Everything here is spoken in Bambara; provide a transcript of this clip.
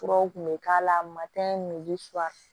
Furaw kun bɛ k'a la matɛ ni fura